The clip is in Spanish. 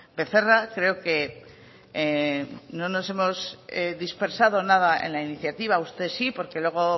becerra creo que no nos hemos dispersado nada en la iniciativa usted sí porque luego